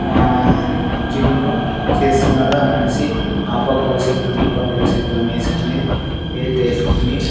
ఆ జిమ్ చేస్సున్నాడు ఆమనిషి ఆపక్కో సేక్రము ఈ పక్కో చెక్రము వేసుకొని వైయిట్ ఏసుకొని --